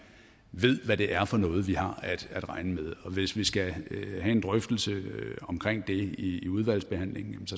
ved hvad det er for noget vi har at regne med og hvis vi skal have en drøftelse omkring det i udvalgsbehandlingen